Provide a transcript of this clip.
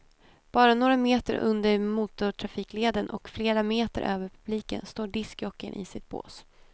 Bara några meter under motortrafikleden och flera meter över publiken står discjockeyn i sitt bås.